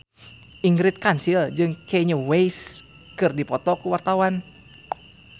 Ingrid Kansil jeung Kanye West keur dipoto ku wartawan